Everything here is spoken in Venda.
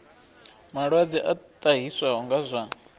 malwadze a ṱahiswaho nga zwa